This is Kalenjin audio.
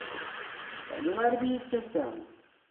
Kakibar bik chechang